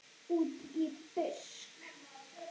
Útí busk.